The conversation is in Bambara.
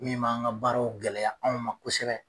Min b'an ka baaraw gɛlɛya anw ma kosɛbɛ.